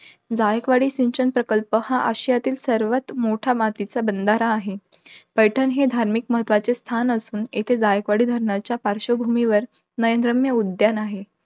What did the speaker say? जायकवाडी सिंचन प्रकल्प हा आशियातील सर्वात मोठा मातीचा बंधारा आहे. पैठण हे धार्मिक महत्वाचे स्थान असून, येथे जायकवाडी धरणाच्या पार्श्वभूमीवर नयनरम्य उद्यान आहे.